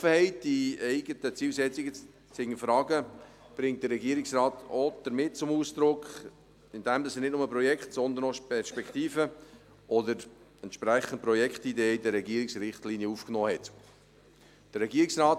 Die Offenheit, die eigenen Zielsetzungen zu hinterfragen, bringt der Regierungsrat auch damit zum Ausdruck, dass er nicht nur Projekte, sondern auch Perspektiven oder Projektideen in die Regierungsrichtlinien aufgenommen hat.